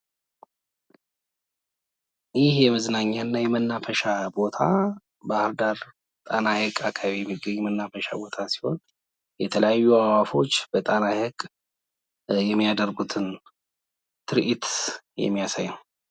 ይሄ የመዝናኛና የመናፈሻ ቦታ ባህር ዳር ጣና ሀይቅ አካባቢ የሚገኝ መናፈሻ ቦታ ሲሆን የተለያዩች አዋዕፎች በጣና ሐይቅ የሚያደርጉት ትርዒት የሚያሳየው ነው።